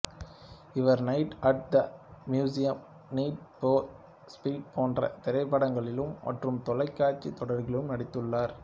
இவர் Night at the Museum Need for Speed போன்ற திரைப்படங்களிலும் மற்றும் தொலைக்காட்சி தொடர்களிலும் நடித்துள்ளார்